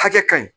Hakɛ ka ɲi